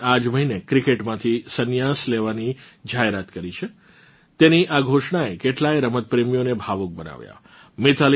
તેમણે આ જ મહિને ક્રિકેટમાંથી સન્યાસ લેવાની જાહેરાત કરી છે તેની આ ઘોષણાએ કેટલાય રમતપ્રેમીઓને ભાવુક બનાવ્યાં